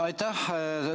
Aitäh!